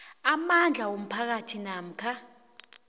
amandla womphakathi namkha